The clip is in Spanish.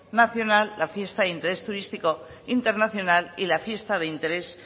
nacional la fiesta de interés turístico internacional y la fiesta de interés